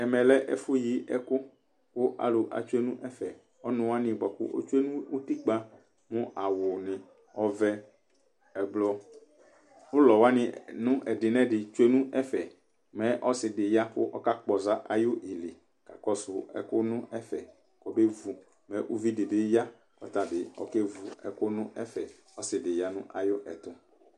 Ɛmɛ lɛ ɛfu yi ɛkʊ Kʊ alʊ etsoe nʊ ɛfɛ Ɔnʊ wanɩ bakʊ etsoe nʊ ʊtikpa mʊ awʊnɩ ɔvɛ, ɛblɔ, ʊlɔ wanɩ nʊ ɛdɩ nʊ ɛdɩ tsoe nʊ ɛfɛ Mɛ ɔsɩ dɩ ya kʊ ɔka kpɔza ayɩlɩ kakɔsʊ ɛkʊ nʊ ɛfɛ kɔbe vʊ Mɛ uvi dɩ bɩ ya kʊ ɔta bɩ ɔkevʊ ɛkʊ nʊ ɛfɛ Ɔsɩ dɩ bɩ ya nʊ ayɛtʊ